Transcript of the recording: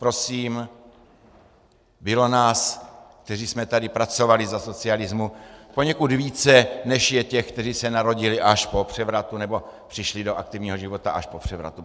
Prosím, bylo nás, kteří jsme tady pracovali za socialismu, poněkud více, než je těch, kteří se narodili až po převratu, nebo přišli do aktivního života až po převratu.